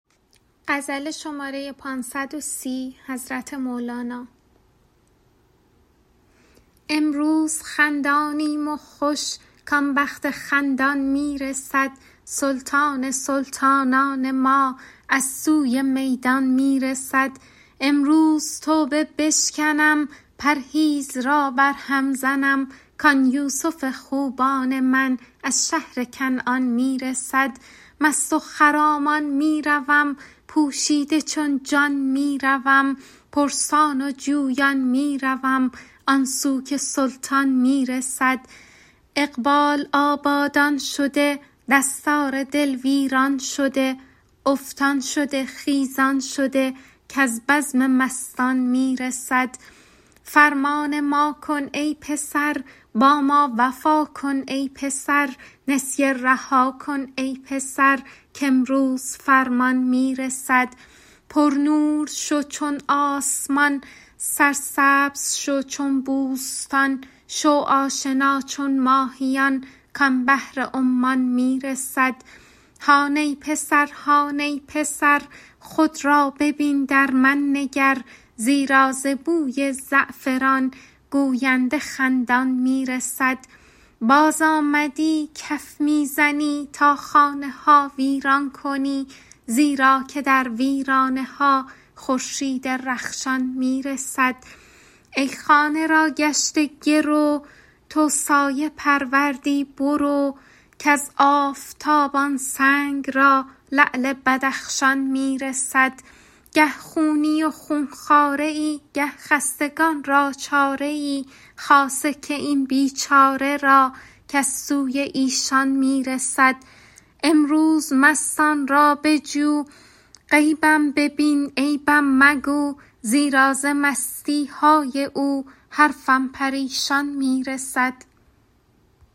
امروز خندانیم و خوش کان بخت خندان می رسد سلطان سلطانان ما از سوی میدان می رسد امروز توبه بشکنم پرهیز را برهم زنم کان یوسف خوبان من از شهر کنعان می رسد مست و خرامان می روم پوشیده چون جان می روم پرسان و جویان می روم آن سو که سلطان می رسد اقبال آبادان شده دستار دل ویران شده افتان شده خیزان شده کز بزم مستان می رسد فرمان ما کن ای پسر با ما وفا کن ای پسر نسیه رها کن ای پسر کامروز فرمان می رسد پرنور شو چون آسمان سرسبزه شو چون بوستان شو آشنا چون ماهیان کان بحر عمان می رسد هان ای پسر هان ای پسر خود را ببین در من نگر زیرا ز بوی زعفران گوینده خندان می رسد بازآمدی کف می زنی تا خانه ها ویران کنی زیرا که در ویرانه ها خورشید رخشان می رسد ای خانه را گشته گرو تو سایه پروردی برو کز آفتاب آن سنگ را لعل بدخشان می رسد گه خونی و خون خواره ای گه خستگان را چاره ای خاصه که این بیچاره را کز سوی ایشان می رسد امروز مستان را بجو غیبم ببین عیبم مگو زیرا ز مستی های او حرفم پریشان می رسد